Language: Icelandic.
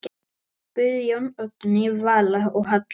Guðjón, Oddný Vala og Halla.